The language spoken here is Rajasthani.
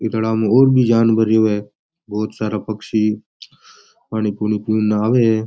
जानवर रव बहोत सारा पक्षी पानी पुनी पिन न आव है।